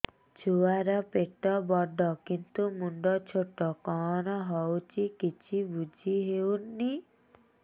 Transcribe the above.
ଛୁଆର ପେଟବଡ଼ କିନ୍ତୁ ମୁଣ୍ଡ ଛୋଟ କଣ ହଉଚି କିଛି ଵୁଝିହୋଉନି